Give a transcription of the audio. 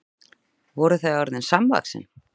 Voru þau orðin samvaxin?